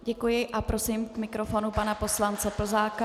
Děkuji a prosím k mikrofonu pana poslance Plzáka.